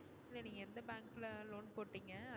இல்ல நீங்க எந்த bank ல loan போட்டீங்க.